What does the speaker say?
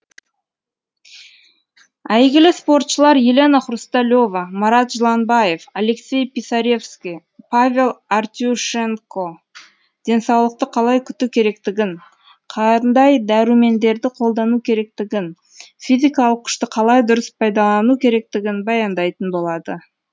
әйгілі спортшылар елена хрусталева марат жыланбаев алексей писаревский павел артюшенко денсаулықты қалай күту керектігін қандай дәрумендерді қолдану керектігін физикалық күшті қалай дұрыс пайдалану керектігін баяндайтын болады